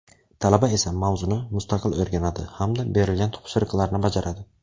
Talaba esa mavzuni mustaqil o‘rganadi hamda berilgan topshiriqlarni bajaradi.